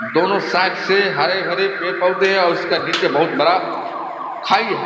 दोनों साइड से हरे-भरे पेड़-पौधे है और उसका नीचे बहुत बड़ा खाई है ।